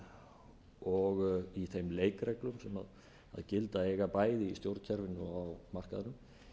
valdþáttanna og í þeim leikreikreglum sem gilda eiga bæði í stjórnkerfinu og á markaðnum